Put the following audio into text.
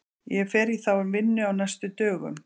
Ég fer í þá vinnu á næstu dögum.